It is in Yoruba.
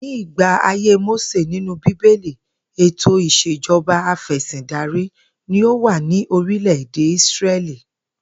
Ní ìgbà ayé Mósè nínú bíbélì, ètò ìs̩ejo̩ba afè̩sìndarí ni ó wà ní orílè̩-èdè Ísré̩lì